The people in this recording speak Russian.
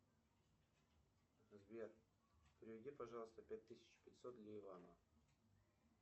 сбер переведи пожалуйста пять тысяч пятьсот для ивана